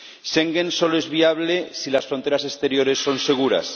Schengen solo es viable si las fronteras exteriores son seguras.